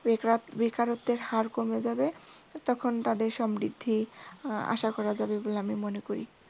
বেকার বেকারত্বের হার কমে যাবে তখন তাদের সমৃদ্ধি আশা করা যাবে বলে আমি মনে করি।